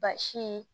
Basi